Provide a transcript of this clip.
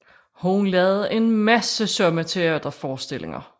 Hun lavede en masse somme teaterforestillinger